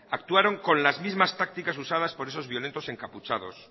actuaron con las mismas tácticas usadas por esos violentes encapuchados